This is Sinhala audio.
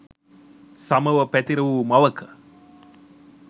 සමව පැතිර වූ මවක